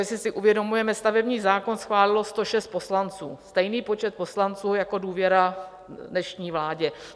jestli si uvědomujeme: stavební zákon schválilo 106 poslanců, stejný počet poslanců jako důvěru dnešní vládě.